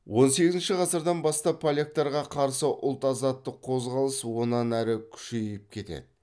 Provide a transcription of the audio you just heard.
он сегізінші ғасырдан бастап поляктарға қарсы ұлт азаттық қозғалыс онан әрі күшейіп кетеді